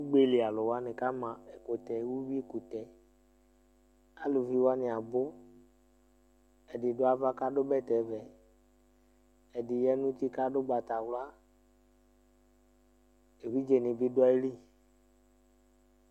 Ʋgbeli alu wani kama ɛkʋtɛ, ʋwui kʋtɛ Alʋvi wani abʋ Ɛdí du ava kʋ adu bɛtɛ vɛ Ɛdí ya nʋ ʋti kʋ adu ugbatawla Evidze ni bi du ayìlí